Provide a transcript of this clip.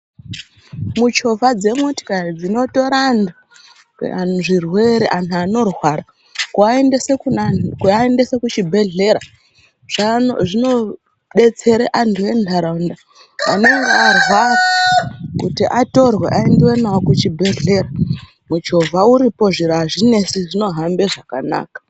Muchovha dzemotokari dzinotora antu ane zvirwere anorwara kuaendesa kuchibhehlera zvinodetsera antu entaraunda anenge arwara kuti atorwe aendwe navo kuchibhehleya. Muchovha uripo zviro zvinesi zvinohamba zvakanaka.